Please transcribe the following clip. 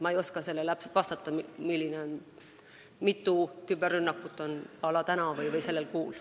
Ma ei oska täpselt vastata, mitu küberrünnakut on toimunud näiteks sellel kuul.